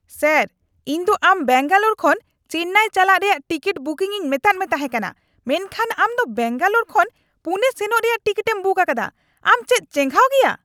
Sir ! ᱤᱧ ᱫᱚ ᱟᱢ ᱵᱮᱝᱜᱟᱞᱳᱨ ᱠᱷᱚᱱ ᱪᱮᱱᱱᱟᱭ ᱪᱟᱞᱟᱣ ᱨᱮᱭᱟᱜ ᱴᱤᱠᱤᱴ ᱵᱩᱠᱤᱝ ᱤᱧ ᱢᱮᱛᱟᱫ ᱢᱮ ᱛᱟᱦᱮᱸ ᱠᱟᱱᱟ ᱢᱮᱱᱠᱷᱟᱱ ᱟᱢ ᱫᱚ ᱵᱮᱝᱜᱟᱞᱳᱨ ᱠᱷᱚᱱ ᱯᱩᱱᱮ ᱥᱮᱱᱚᱜ ᱨᱮᱭᱟᱜ ᱴᱤᱠᱤᱴᱮᱢ ᱵᱩᱠ ᱟᱠᱟᱫᱟ ᱾ ᱟᱢ ᱪᱮᱫ ᱪᱮᱸᱜᱷᱟᱣ ᱜᱮᱭᱟ ?